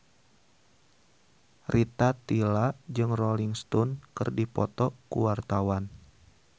Rita Tila jeung Rolling Stone keur dipoto ku wartawan